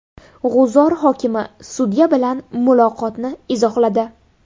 G‘uzor hokimi sudya bilan muloqotini izohladi.